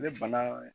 Ne bana